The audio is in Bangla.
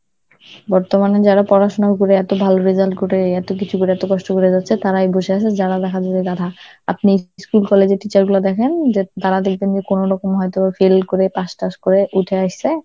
বর্তমানে যারা পড়াশোনা করে, এত ভালো result করে, এত কিছু করে এত কষ্ট করে যাচ্ছে, তারাই বসে আছে যারা লেখা . আপনি school college এর teacher গুলো দেখেন, যা~ যারা দেখবেন যে কোনোরকম হয়তো fail করে pass টাশ করে উঠে আইছে